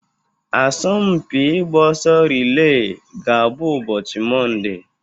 Asọmpi ịgba ọsọ rile ga-abụ ụbọchị Mọnde.